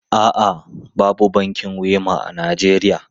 A'a, babu bankin Wema a Najeriya.